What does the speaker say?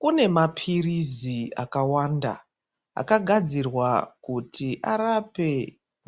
Kune maphirizi akawanda akagadzirwa kuti arape